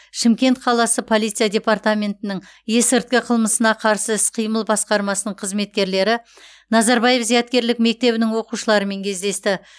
шымкент қаласы полиция департаментінің есірткі қылмысына қарсы іс қимыл басқармасының қызметкерлері назарбаев зияткерлік мектебінің оқушыларымен кездесті